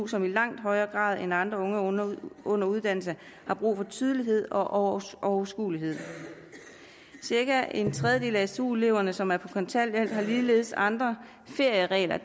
som i langt højere grad end andre unge under under uddannelse har brug for tydelighed og overskuelighed cirka en tredjedel af stu eleverne som er på kontanthjælp har ligeledes andre ferieregler